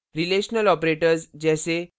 relational operators जैसे